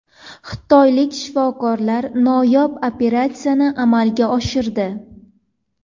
Xitoylik shifokorlar noyob operatsiyani amalga oshirdi.